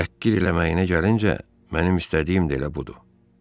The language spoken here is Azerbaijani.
Təhqir eləməyinə gəlincə, mənim istədiyim də elə budur.